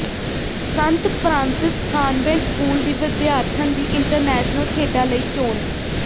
ਸੰਤ Francis convent school ਦੀ ਵਿਦਿਆਰਥਣ ਦੀ ਇੰਟਰਨੈਸ਼ਨਲ ਖੇਡਾਂ ਲਈ ਚੋਣ